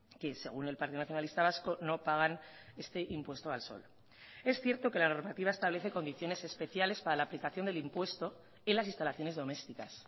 que según el partido nacionalista vasco no pagan este impuesto al sol es cierto que la normativa establece condiciones especiales para la aplicación del impuesto en las instalaciones domésticas